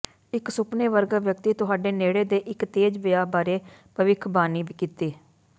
ਇੱਕ ਸੁਪਨੇ ਵਰਗਾ ਵਿਅਕਤੀ ਤੁਹਾਡੇ ਨੇੜੇ ਦੇ ਇੱਕ ਤੇਜ਼ ਵਿਆਹ ਬਾਰੇ ਭਵਿੱਖਬਾਣੀ ਕੀਤੀ